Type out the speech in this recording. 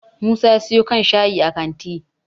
musa ya siyo kan shayi a kanti